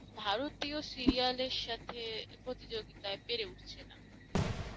ভারতীয় serial এর সাথে প্রতিযোগিতায় পেরে উঠছে না।